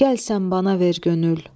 Gəl sən bana ver könül.